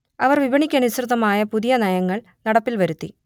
അവർ വിപണിക്കനുസൃതമായ പുതിയ നയങ്ങൾ നടപ്പിൽ വരുത്തി